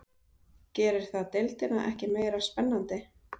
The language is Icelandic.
Gerir það deildina ekki meira spennandi?